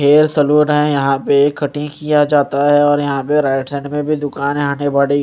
hair saloon है यहां पे कटिंग किया जाता है और यहां पे राइट साइड में भी दुकान है --